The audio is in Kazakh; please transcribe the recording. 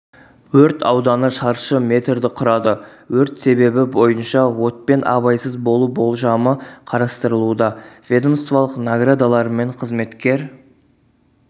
өрт ауданы шаршы метрді құрады өрт себебі бойынша отпен абайсыз болу болжамы қарастырылуда ведомстволық наградаларымен қызметкер